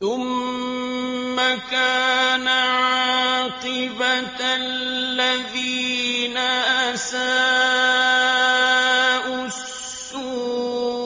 ثُمَّ كَانَ عَاقِبَةَ الَّذِينَ أَسَاءُوا السُّوأَىٰ